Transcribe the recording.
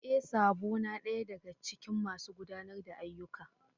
E! Sabo na daya daga cikin masu gudanar da ayyukan.